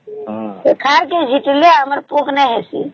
ଖତ ଗ ଝିଟିଲେ ଆମର ପୋକ ନାଇଁ ହେଇସି